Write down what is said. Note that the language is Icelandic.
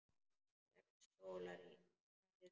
Sex stólar í hverri röð.